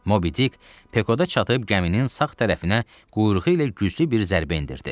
Mobidik Pekoda çatıb gəminin sağ tərəfinə quyruğu ilə güclü bir zərbə endirdi.